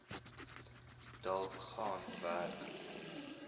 dalk gaan werk